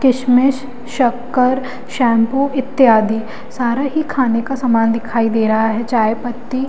किशमिश शक्कर शैंपू इत्यादि सारा ही खाने का सामान दिखाई दे रहा है चाय पत्ती--